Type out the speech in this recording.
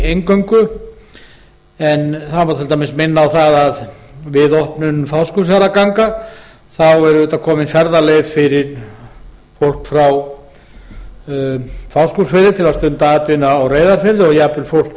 eingöngu það má til dæmis minna á það að við opnun fáskrúðsfjarðarganga er komin ferðaleið fyrir fólk á fáskrúðsfirði til að stunda atvinnu á reyðarfirði og jafnvel fólk